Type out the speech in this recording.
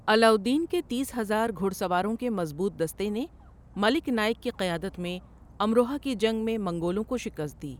علاؤالدین کے تیس ہزار گھڑسواروں کے مضبوط دستے نے ملک نائک کی قیادت میں امروہہ کی جنگ میں منگولوں کو شکست دی۔